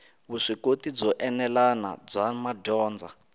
vuswikoti byo enelanyana bya madyondza